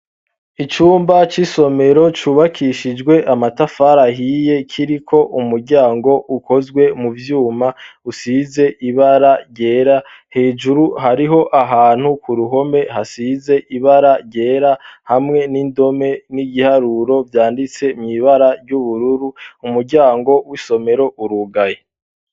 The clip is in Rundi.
Icumba c'isomero cubakishijwe amatafari ahiye, kiriko umuryango ukozwe mu vyuma usize ibara ryera. Hejuru hariho ahantu k'uruhome hasize ibara ryera, hamwe n'indome n'igiharuro vyanditsemwo ibara ry'ubururu. Umuryango w'isomero urugaye.